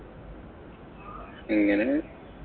അങ്ങനെ